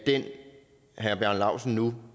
herre bjarne laustsen nu